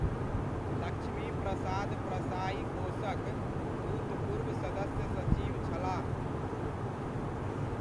लक्ष्मी प्रसाद प्रसाइ कोषक भूतपुर्व सदस्य सचिव छलाह।